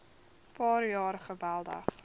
paar jaar geweldig